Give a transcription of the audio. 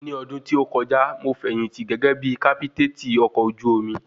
Ni odun tí ó kọjá, mo fẹ̀yìntì gẹ́gẹ́ bí kápítètì ọkọ̀ ojú omi